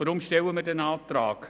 Weshalb stellen wir diesen Antrag?